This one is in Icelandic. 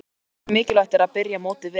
Hversu mikilvægt er að byrja mótið vel?